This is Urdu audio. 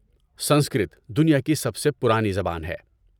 سنسکرت دنیا کی سب سے پرانی زبان ہے۔